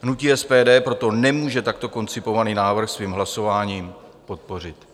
Hnutí SPD proto nemůže takto koncipovaný návrh svým hlasováním podpořit.